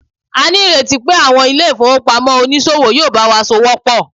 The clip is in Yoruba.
a ni ireti pe àwọn ilé ifowopamọ onísòwò yíò bawa s'ọwọ pọ